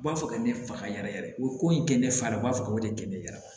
U b'a fɔ ka ne faga yɛrɛ yɛrɛ o ko in kɛ ne fa u b'a fɔ k'o de gɛnɛ